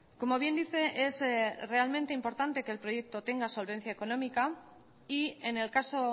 como bien dice es realmente importante que el proyecto tenga solvencia económica y en el caso